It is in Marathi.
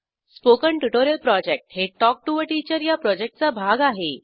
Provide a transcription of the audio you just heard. स्पोकन ट्युटोरियल प्रॉजेक्ट हे टॉक टू टीचर या प्रॉजेक्टचा भाग आहे